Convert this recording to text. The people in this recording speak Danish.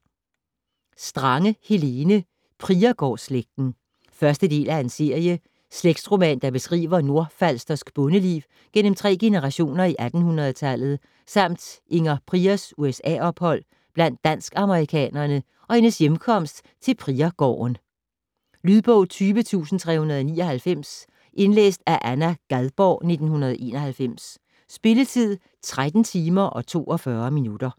Strange, Helene: Priergårdsslægten 1. del af serie. Slægtsroman, der beskriver nordfalstersk bondeliv gennem tre generationer i 1800-tallet samt Inger Priers USA-ophold blandt dansk-amerikanere og hendes hjemkomst til Priergården. Lydbog 20399 Indlæst af Anna Gadborg, 1991. Spilletid: 13 timer, 42 minutter.